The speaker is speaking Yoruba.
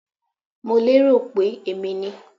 I was thinking It was me